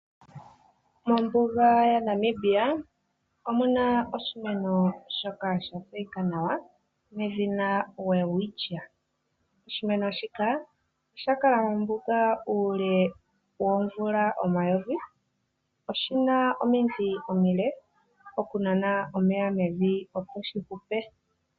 Mombuga yaNamibia omu na oshimeno shoka sha tseyika nawa nedhina welwitchia. Oshimeno shika osha kala mombuga uule woomvula omayovi. Oshi na omidhi omile okunana omeya mevi opo shi hupe.